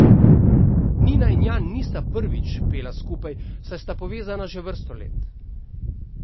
Nina in Jan nista prvič pela skupaj, saj sta povezana že vrsto let.